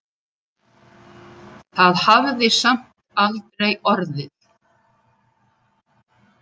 Það hafði samt aldrei orðið.